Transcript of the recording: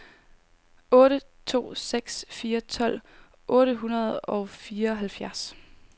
otte to seks fire tolv otte hundrede og fireoghalvfjerds